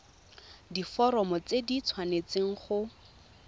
diforomo tse di tshwanesteng go